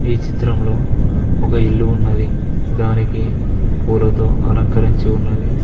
ఈ చిత్రంలో ఒక ఇల్లు ఉన్నది దానికి పూలతో అలంకరించి ఉన్నది.